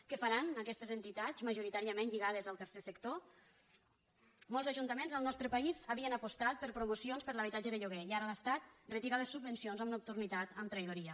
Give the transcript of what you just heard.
què faran aquestes entitats majoritàriament lligades al tercer sector molts ajuntaments al nostre país havien apostat per promocions per a l’habitatge de lloguer i ara l’estat retira les subvencions amb nocturnitat amb traïdoria